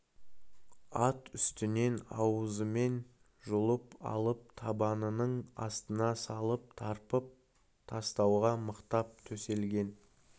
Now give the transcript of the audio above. ат үстінен аузымен жұлып алып табанының астына салып тарпып тастауға мықтап төселген